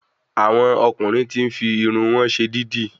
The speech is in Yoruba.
Àwọn ọkùnrin tí n fi Irun wọn ṣe dídì